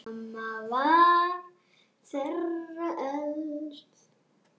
Mamma var þeirra elst.